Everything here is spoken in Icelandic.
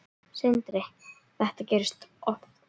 Sindri: Þetta gerist oft?